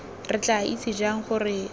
ke tla itse jang gore